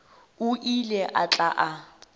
o ile a tla a